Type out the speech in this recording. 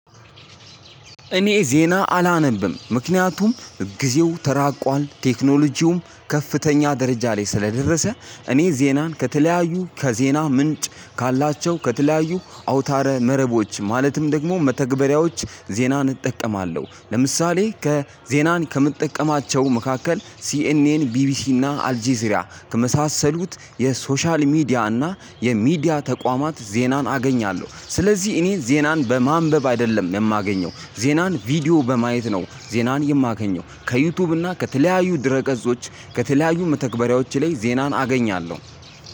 እኔ ዜና አላነብም። ምክንያቱም ጊዜው ተራቋል ቴክኖሎጂውም ከፍተኛ ደረጃ ላይ ስለደረሰ እኔ ዜናን ከተለያዩ ከዜና ምንጭ ካላቸው ከተለያዩ አውታረ መረቦች ማለትም ደግሞ መተግበሪያዎች ዜናን እጠቀማለሁ። ለምሳሌ ከ ዜናን ከምጠቀማቸው መካከል ሲኤንኤን፣ ቢቢሲ እና አልጀዚራ ከመሳሰሉት 'የሶሻል ሚዲያ' እና የሚዲያ ተቋማት ዜናን አገኛለሁ። ስለዚህ እኔ ዜናን በማንበብ አይደለም የማገኘው ዜናን ቪዲዮ በማየት ነው ዜናን የማገኘው። ከዩቲዩብ እና ከተለያዩ ድረ ገጾች ከተለያዩ መተግበሪያዎች ላይ ዜናን አገኛለሁ።